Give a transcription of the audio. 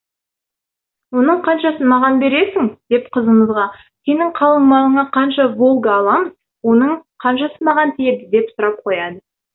оның қаншасын маған бересің деп қызымызға сенің қалыңмалыңа қанша волга аламыз оның қаншасы маған тиеді деп сұрап қояды